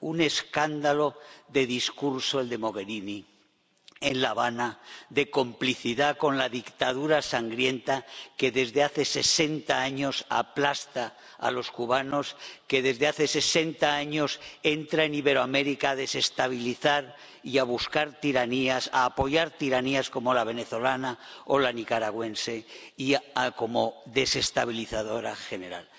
Un escándalo de discurso el de Mogherini en La Habana, de complicidad con la dictadura sangrienta que, desde hace sesenta años, aplasta a los cubanos, que desde hace sesenta años entra en Iberoamérica a desestabilizar y a apoyar tiranías como la venezolana o la nicaragüense, y que actúa como desestabilizadora general.